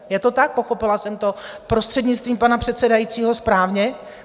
Je to tak, pochopila jsem to prostřednictvím pana předsedajícího správně?